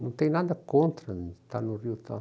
Não tem nada contra estar no Rio e tal.